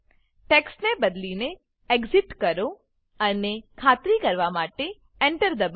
ટેક્સ્ટને બદલીને એક્સિટ કરો અને ખાતરી કરવા માટે Enter દબાવો